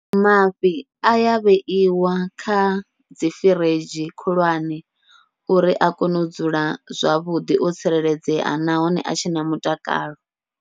Mafhi aya vheiwa kha dzi firidzhi khulwane, uri a kone u dzula zwavhuḓi o tsireledzea nahone a tshe na mutakalo.